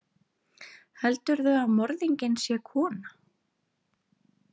Heldurðu að morðinginn sé kona?